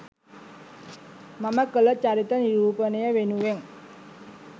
මම කළ චරිත නිරූපණය වෙනුවෙන්